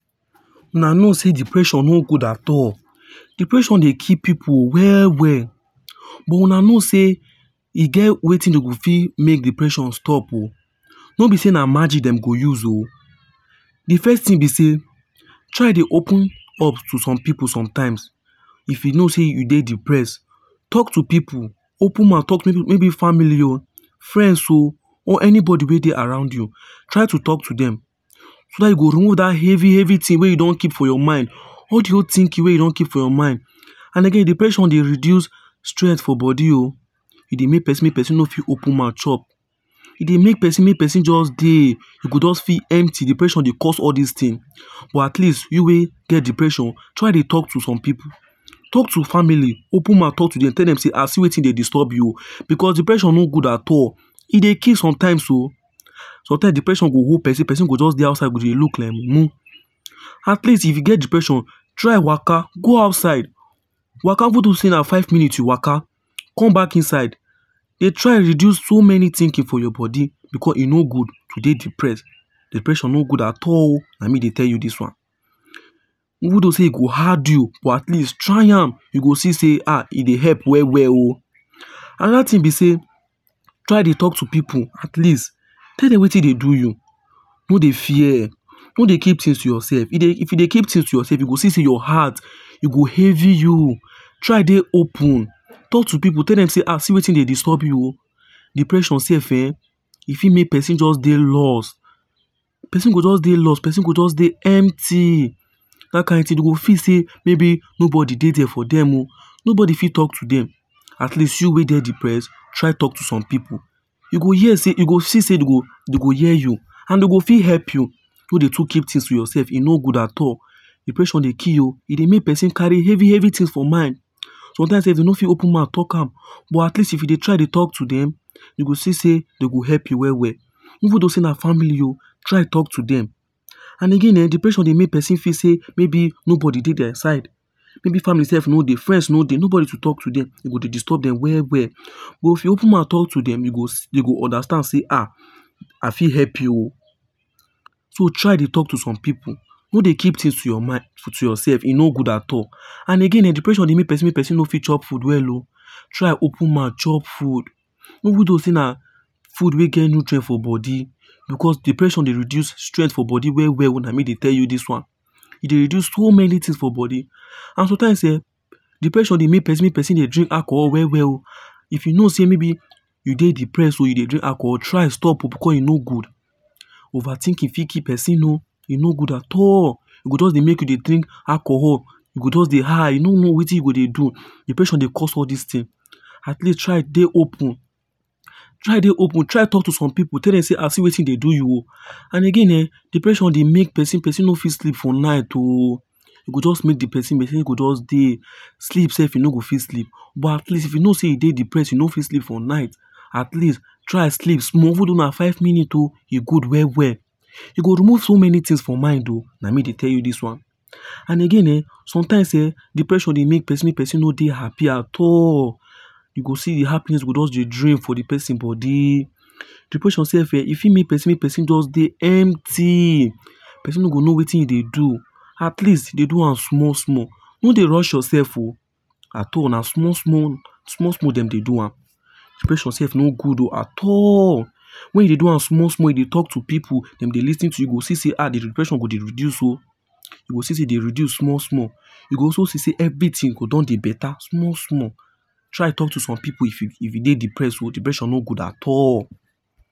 Una know sey depression no good at all. Depression dey kill pipu well well. But Una know sey e get wetin dem go fit make depression stop oh. No be sey na magic dem go use oh. De first thing be sey try dey open up to some pipu sometimes. If you know sey you dey depressed, talk to some pipu. Open mouth talk, maybe family oh., friends oh or anybody wey dey around you. Try to take to dem. So that e go remove that heavy heavy thing wey you don keep for your mind. All de whole thinking wey you don keep for your mind and again depression dey reduce strength for body oh. E dey make person make person no fit open mouth chop E dey make person make person just dey. E go just feel empty Depression go cause all these things. but at least you wey get depression, try dey talk to some pipu. Talk to family open mouth talk to dem tell dem sey um see wetin dey disturb me oh because depression no good at all. E dey kill sometimes oh. Sometimes depression go hold person, person go just dey outside dey look like mumu. At least if you get depression, try waka go outside waka even though sey na five minutes waka come back inside. De try reduce so many thinking for your body because e no good to dey depressed. Depression no good at all oh na me dey tell you this one. Even though sey e go hard you, but at least try am, you go see sey um e dey help well well oh. Another thing be sey try dey talk to pipu at least tell dem wetin dey do you. No dey fear. No dey keep things to yourself. If you dey keep things to yourself you go see sey your heart e go heavy you, try dey open. Talk to pipu, tell dem say um see wetin dey disturb you. Depression self um e fit make person dey lost. Person go just dey lost, person go just dey empty that kind thing person go just see sey maybe nobody dey for dem oh. Nobody fit talk to dem, at least you wey dey depressed try talk to some pipu. You go hear sey, you go see sey dey go hear you. And dey go fit help you. No dey too keep things for yourself e no good at all. Depression dey kill e dey make person carry heavy heavy things for mind. Sometimes self dey no fit open mouth dey talk am but at least if you dey try dey talk to dem, you go see sey dey go help you well well. Even though sey na family oh try talk to dem and again um depression dey make person dey think sey maybe nobody dey their side. Maybe sey family no dey, friends no dey nobody dey to talk to dem e go dey disturb dem well well. But If you open mouth talk to dem dey go understand say um I fit help you. So try dey talk to some pipu. No dey keep things to yourself e no good at all. And again depression dey make person make e no fit chop food well. Try open mouth chop food even though sey na food wey get nutrient for body because depression dey reduce strength for body well well na me dey tell you this one. E dey reduce so many things for body and sometimes um depression dey make person make person dey drink alcohol well well. If you know sey maybe you dey depress oh and you dey drink alcohol, try stop oh, because e no good Overthinking fit kill person oh e no good at all. E go just dey make you dey drink alcohol, you go just dey high, you no know wetin you dey do. Depression dey cause all these things. At least try dey open try dey open. Try talk to some pipu, tell dem sey um see wetin dey do you and again um depression dey make person person no fit sleep for night oh. E go just make person go just dey sleep self e no go fit sleep. But at least if you know sey you dey depressed and you no fit sleep for night, at least try sleep small even though na for five minutes ohe good well well. E go remove so many things for mind oh na me dey tell you this one. And again um sometimes um depression dey make person make person no dey happy at all. You go see di happiness go just dey drain for dey person body. Depression self um e fit make person make person body just dey empty. Person no go know wetin him dey do, at least dey do am small small. No dey rush yourself. At all na small small, na small small dem dey do am. Depression self no good oh at all, when you dey do am small small, you dey talk to pipu, dem dey lis ten to you e go see sey um de depression go dey reduce oh, you go see say dey reduce small small. You go also see sey everything for don dey beta small small, try talk to some pipu if you dey depressed oh, depression no good oh at all.